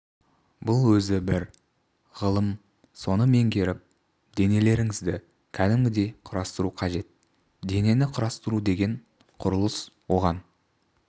бұл өзі бір ғылым соны меңгеріп денелеріңізді кәдімгідей құрастыру қажет денені құрастыру деген құрылыс оған